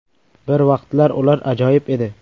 Bir vaqtlar ular ajoyib edi”.